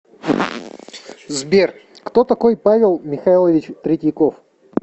сбер кто такой павел михайлович третьяков